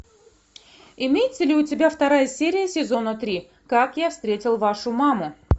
имеется ли у тебя вторая серия сезона три как я встретил вашу маму